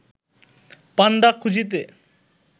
পাণ্ডা খুঁজিতে